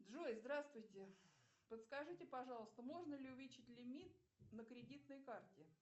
джой здравствуйте подскажите пожалуйста можно ли увеличить лимит на кредитной карте